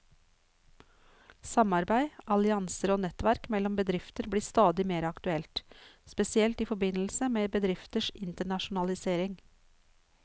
Samarbeid, allianser og nettverk mellom bedrifter blir stadig mer aktuelt, spesielt i forbindelse med bedrifters internasjonalisering.